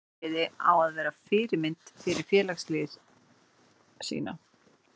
Fyrirliði á að vera fyrirmynd fyrir liðsfélaga sína.